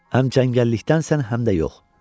Həm cəngəllikdən sənsən, həm də yox.